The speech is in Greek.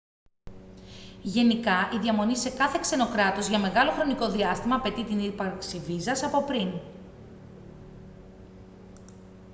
γενικά η διαμονή σε κάθε ξένο κράτος για μεγάλο χρονικό διάστημα απαιτεί την ύπαρξη βίζας από πριν